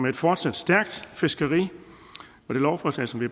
et fortsat stærkt fiskeri og det lovforslag som vi